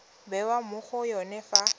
bewa mo go yone fa